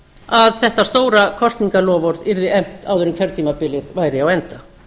að þetta stóra kosningaloforð yrði efnt áður en kjörtímabilið væri á enda